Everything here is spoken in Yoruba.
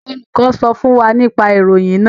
Olùkọ sọ fún wa nipa ìròyìn náà.